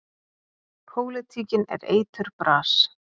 Pólitíkin er eiturbras.